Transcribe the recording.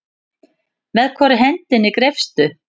Með hvorri hendinni greipstu?